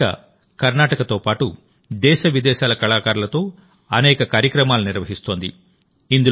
ఈ వేదికకర్ణాటకతో పాటు దేశ విదేశాల కళాకారులతో అనేక కార్యక్రమాలను నిర్వహిస్తోంది